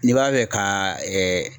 N'i b'a fɛ ka